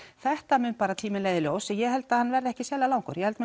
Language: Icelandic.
þetta mun tíminn leiða í ljós og ég held hann verði ekki sérlega langur ég held